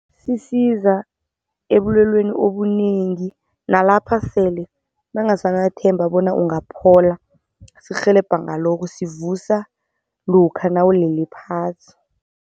Sisiza ebulweleni obunengi, nalapha sele ungasanathemba bona ungaphola. Sikurhelebha ngalokho sikuvusa lokha nawulele phasi.